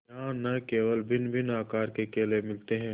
यहाँ न केवल भिन्नभिन्न आकार के केले मिलते हैं